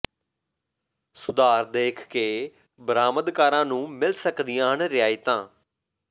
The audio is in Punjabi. ਸੁਧਾਰ ਦੇਖ ਕੇ ਬਰਾਮਦਕਾਰਾਂ ਨੂੰ ਮਿਲ ਸਕਦੀਆਂ ਹਨ ਰਿਆਇਤਾਂ